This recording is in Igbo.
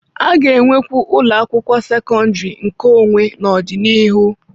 A ga-enwekwu ụlọ akwụkwọ sekọndrị nkeonwe n'ọdịnihu.